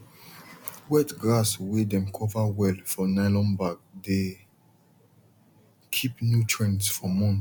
wet grass way dem cover well for nylon bag dey keep nutrients for months